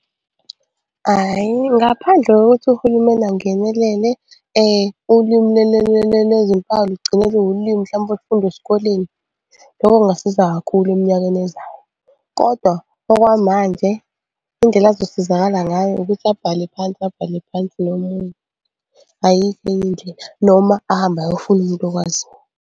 Hhayi, ngaphandle kokuthi uhulumeni angenelele ulimi lezimpawu lugcine luwulimi mhlampe olufundwa esikoleni. Lokho kungasiza kakhulu eminyakeni ezayo kodwa okwamanje indlela azosizakala ngayo ukuthi abhale phansi, abhale phansi nomunye. Ayikho enye indlela noma ahambe ayofuna umuntu okwaziyo.